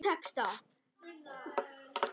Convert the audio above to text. Sjá texta.